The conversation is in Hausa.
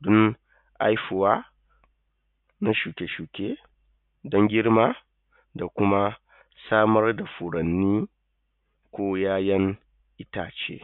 don haihuwa na shuke-shuke don girma da kuma samar da furanni ko ya'yan itace.